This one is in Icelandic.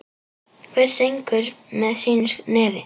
Hver syngur með sínu nefi.